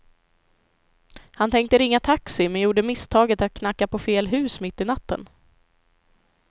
Han tänkte ringa taxi, men gjorde misstaget att knacka på fel hus mitt i natten.